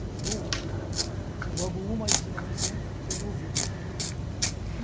e um Se você joga o um mais dezenove, são século vinte.